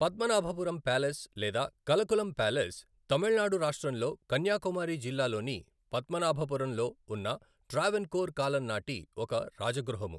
Padmanabhapuram palace లేదా Kalkulam palace, Tamil Nadu రాష్ట్రంలో కన్యాకుమారి జిల్లాలోని పద్మనాభపురంలో ఉన్న ట్రావెన్కోర్ కాలం నాటి ఒక రాజగృహము.